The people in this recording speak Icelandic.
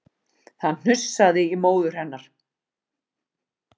Það hnussaði í móður hennar